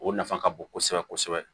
O nafa ka bon kosɛbɛ kosɛbɛ